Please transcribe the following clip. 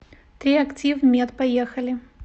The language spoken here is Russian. триактив мед поехали